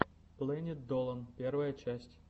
плэнит долан первая часть